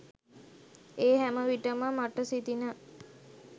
ඒ හැම විට ම මට සිතිණ